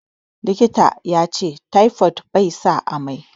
Likita yace taifod be sa amai